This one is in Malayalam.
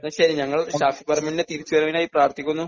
എന്നാ ശരി ഞങ്ങള് ഷാഫിപറമ്പിലിലെ തിരിച്ചു വരവിനായി പ്രാർത്ഥിക്കുന്നു.